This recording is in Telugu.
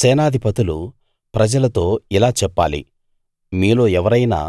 సేనాధిపతులు ప్రజలతో ఇలా చెప్పాలి మీలో ఎవరైనా